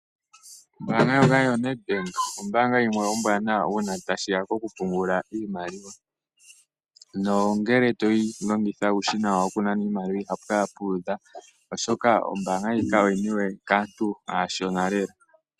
Ombaanga ndjoka yoNedbank ombaanga yimwe ombwaanawa uuna tashi ya kokupungula iimaliwa. Ngele to longitha uushina wayo wokunana iimaliwa, ihapu kala pu udha, oshoka ombaanga ndjika ohayi longithwa kaantu aashona lela.